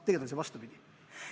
Tegelikult on vastupidi.